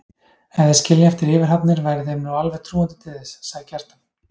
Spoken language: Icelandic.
Ef þeir skilja eftir yfirhafnir væri þeim nú alveg trúandi til þess, sagði Kjartan.